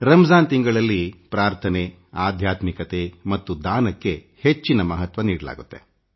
ರಂಜಾನ್ ಮಾಸದಲ್ಲಿ ಪ್ರಾರ್ಥನೆ ಆಧ್ಯಾತ್ಮಿಕತೆ ಮತ್ತು ದಾನಕ್ಕೆ ಉನ್ನತ ಮಹತ್ವ ನೀಡಲಾಗುತ್ತದೆ